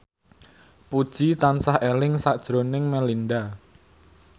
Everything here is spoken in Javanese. Puji tansah eling sakjroning Melinda